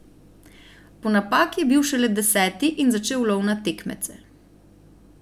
Po napaki je bil šele deseti in začel lov na tekmece.